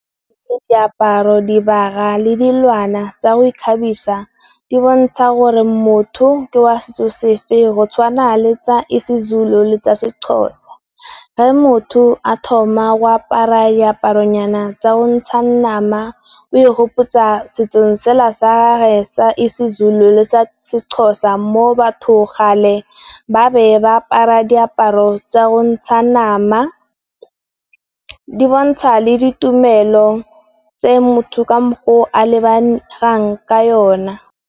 Diaparo, dibaga le dilwana tsa go ikgabisa di bontsha gore motho ke wa setso se feng go tshwana le tsa Sezulu le tsa Sexhosa. Ga motho a thoma go apara diaparo nyana tsa go ntsha nama o e kgopotsa setsong sela sa Sezulu le sa Sexhosa mo batho gale ba ne ba apara diaparo tsa go ntsha nama, di bontsha le ditumelo tse motho ka mokgo o a lebegang ka yona.